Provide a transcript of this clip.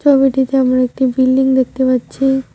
ছবিটিতে আমরা একটি বিল্ডিং দেখতে পাচ্চি।